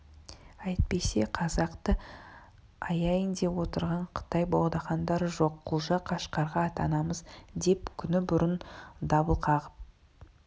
әйтпесе қазақты аяйын деп отырған қытай богдахандары жоқ құлжа қашқарға аттанамыз деп күні бұрын дабыл қағып